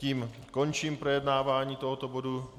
Tím končím projednávání tohoto bodu.